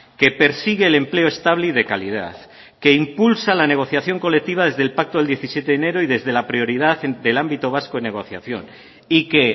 que persigue el empleo estable y de calidad que impulsa la negociación colectiva desde el pacto del diecisiete de enero y desde la prioridad del ámbito vasco de negociación y que